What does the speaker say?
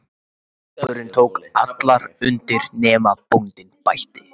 Og hópurinn tók allur undir: nema bóndinn bætti.